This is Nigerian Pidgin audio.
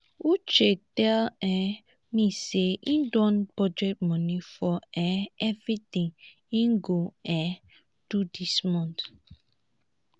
uche tell um me say he don budget money for um everything he go um do dis month